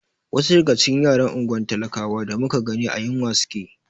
Wasu daga cikin yaran unguwar talakawan da muka gani a yunwa suke.